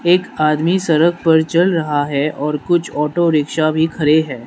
एक आदमी सड़क पर चल रहा है और कुछ ऑटो रिक्शा भी खड़े हैं।